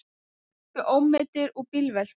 Sluppu ómeiddir úr bílveltu